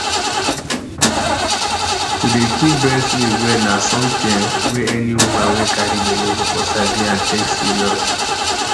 to dey keep breast milk well na something ehmm wey any woman wey carry belle suppose sabi and take serious